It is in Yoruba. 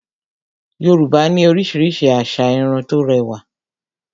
Yorùbá ní oríṣiríṣi asà Irun tó rẹwà